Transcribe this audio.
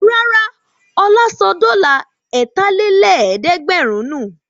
Rárá, Ọlá sọ dọ́là ẹ̀tàlélẹ́ẹ̀dẹ́gbẹ̀rún nù.